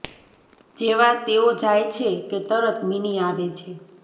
જેવા તેઓ જાય છે કે તરત મીની આવે છે